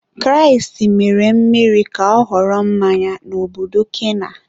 Kraịst mere mmiri ka ọ ghọrọ mmanya n'obodo kana.